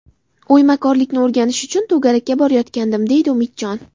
O‘ymakorlikni o‘rganish uchun to‘garakka borayotgandim, – deydi Umidjon.